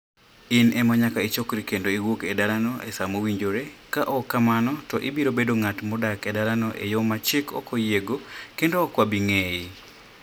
In ema nyaka ichokri kendo iwuog e dalano e sa mowinjore. Ka ok kamano, to ibiro bedo ng'at modak e dalano e yo ma chik ok oyiego, kendo ok wabi ng'eyi".